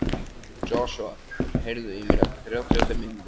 Joshua, heyrðu í mér eftir þrjátíu og fimm mínútur.